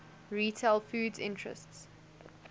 retail foods interests